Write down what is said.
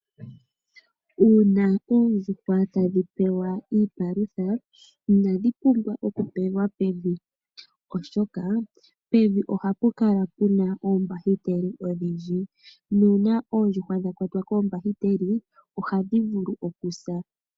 Uuna oondjuhwa tadhi pewa iipalutha inadhi pumbwa okupewa pevi oshoka pevi oha pu kala pu na oombahiteli odhindji nuuna oondjuhwa dha kwatwa koombahiteli ohadhi vulu okusa.